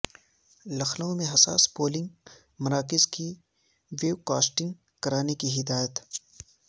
لکھنو میں حساس پولنگ مراکز کی ویو کاسٹنگ کرانے کی ہدایت